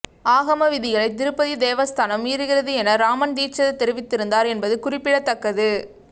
ஆகம விதிகளை திருப்பதி தேவஸ்தானம் மீறுகிறது என ரமண் தீட்சித தெரிவித்திருந்தார் என்பது குறிப்பிடத்தக்கது